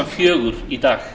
fjögur í dag